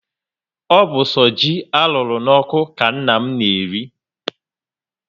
O bu so ji arụrụ n'oku ka nna m na-eri